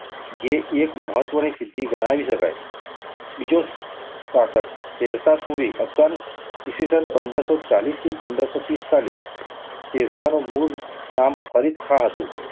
જે એક મહત્ત્વની સિધ્ધિ ગણાવી શકાય. બીજો સાર્થક શેરશા સૂરિ અફધાન ઈ. સ. પંદરસો ચાલીસ થી પંદરસો પિસ્તાલીસ શેરશાહનું મૂળ નામ ફરીદાઁ હતું.